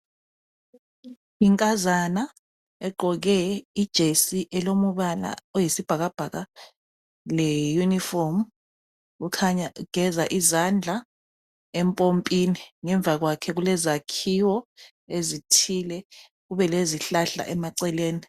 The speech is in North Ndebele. Inkazana egqoke ijesi elombala oyisibhakabhaka leyunifomu ikhanya igeza izandla empompini. Ngemva kwakhe kulezakhiwo ezithile kube lezihlahla emaceleni.